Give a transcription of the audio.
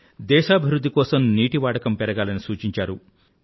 దేశాభివృధ్ధి కోసం నీటి వాడకం పెరగాలని సూచించారు